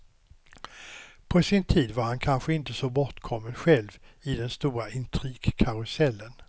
På sin tid var han kanske inte så bortkommen själv i den stora intrigkarusellen.